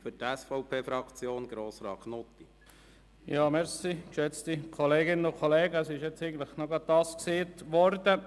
Der Herr Kollege Grimm hat gerade etwas gesagt, was ich mir auch notiert habe.